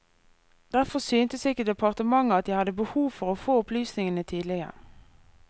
Derfor syntes ikke departementet at jeg hadde behov for å få opplysningene tidligere.